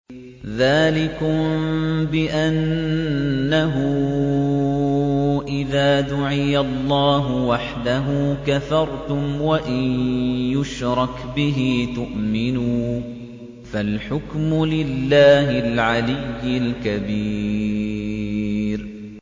ذَٰلِكُم بِأَنَّهُ إِذَا دُعِيَ اللَّهُ وَحْدَهُ كَفَرْتُمْ ۖ وَإِن يُشْرَكْ بِهِ تُؤْمِنُوا ۚ فَالْحُكْمُ لِلَّهِ الْعَلِيِّ الْكَبِيرِ